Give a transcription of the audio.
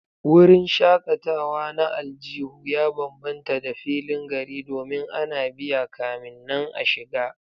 Wurin shakatawa na aljihu ya bambanta da filin gari domin ana biya kamin nan a shiga